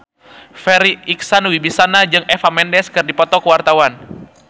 Farri Icksan Wibisana jeung Eva Mendes keur dipoto ku wartawan